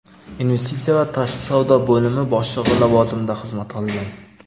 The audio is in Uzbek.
Investitsiya va tashqi savdo bo‘limi boshlig‘i lavozimida xizmat qilgan.